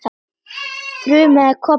þrumaði Kobbi.